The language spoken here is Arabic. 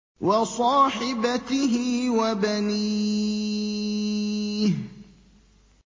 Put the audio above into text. وَصَاحِبَتِهِ وَبَنِيهِ